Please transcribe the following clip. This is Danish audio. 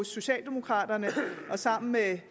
socialdemokraterne sammen med